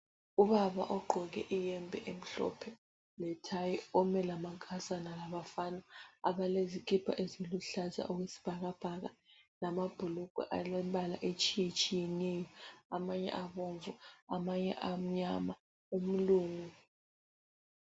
Ubaba ogqoke iyembe emhlophe lethayi. Ome lamankazana labafana abalezikipa eziluhlaza okwesibhakabhaka lama bhulugwe alembala etshiyetshiyeneyo. Amanye abomvu amanye amnyama. Umlungu